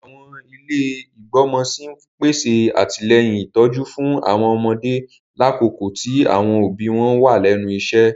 Àwọn ilé igbọmọ sí n pèsè atilẹyin ìtójú fún àwọn ọmọdé lakoko ti àwọn òbí wọn wa lẹ́nu iṣẹ.